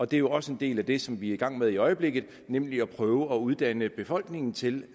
det er jo også en del af det som vi er i gang med i øjeblikket nemlig at prøve at uddanne befolkningen til